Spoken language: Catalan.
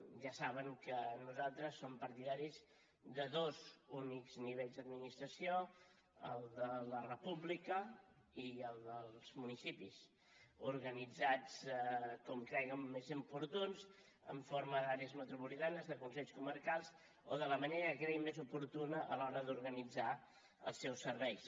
ja saben que nosaltres som partidaris de dos únics nivells d’administració el de la república i el dels municipis organitzats com creguin més oportú en forma d’àrees metropolitanes de consells comarcals o de la manera que creguin més oportuna a l’hora d’organitzar els seus serveis